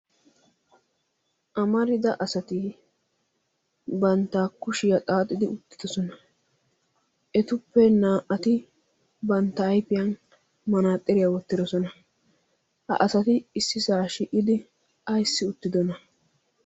amarida asati bantta kushiyaa xaaxidi uttidosona etuppe naa"ati bantta aifiyan manaaxxiriyaa wottidosona ha asati issi saa shi'idi aissi uttidona?